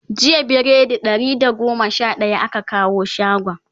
jiya biredi Ɗari da goma Sha daya aka kawo shagon